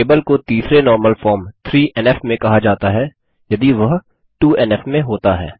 table को तीसरे normal form में कहा जाता है यदि वह 2एनएफ में होता है